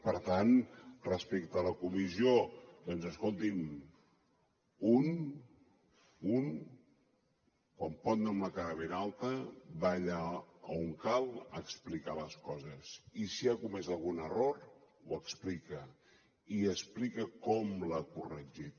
per tant respecte a la comissió doncs escolti’m un quan pot anar amb la cara ben alta va allà on cal a explicar les coses i si ha comès algun error ho explica i explica com l’ha corregit